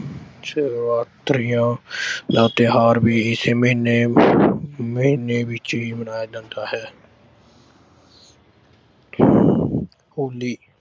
ਸ਼ਿਵਰਾਤਰੀ ਅਹ ਦਾ ਤਿਓਹਾਰ ਵੀ ਇਸੇ ਮਹੀਨੇ ਮਹੀਨੇ ਵਿੱਚ ਹੀ ਮਨਾਇਆ ਜਾਂਦਾ ਹੈ। ਹੋਲੀ